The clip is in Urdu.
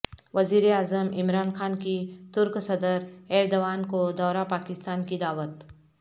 وزیراعظم عمران خان کی ترک صدر ایردوان کو دورہ پاکستان کی دعوت